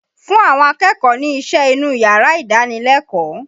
Fún àwọn akẹ́kọ̀ọ́ ni iṣẹ́ inú yàrá ìdánilẹ́kọ̀ọ́!